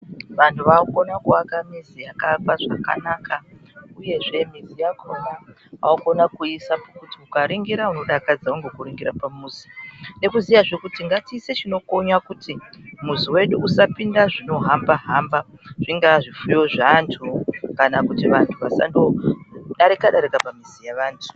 Vanhu vaakukona kuvaka mizi yakaakwa zvakanaka uyezve muzi yakona vaakuiisa pokuti ukaningira unodakadzwa nekuningira pamuzi. Nekuziyazve kuti ngatiise zvinokonya kuti muzi wedu usapinde zvinohamba hamba. Zvingaa zvipfuyo zvevanthu, kana kuti vantu vasandodarika darika pamizi yavanthu.